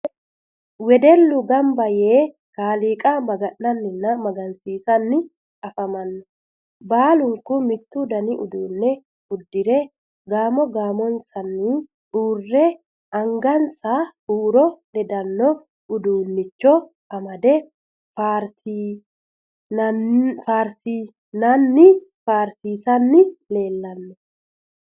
Wedellu gamba yee kaaliiqa maga'nanninna guwisiranni afamanno. Baalunku mittu dani uduunne uddire gasmo gaamotenni uurre anagansa huuro ledanno uduunnicho amade faarsiranninna faarsiisanni leellanno.